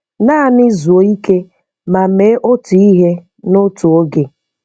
Naanị zuo ike ma mee otu ihe notu oge.